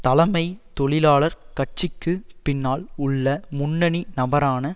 தலைமை தொழிலாளர் கட்சிக்குப் பின்னால் உள்ள முன்னணி நபரான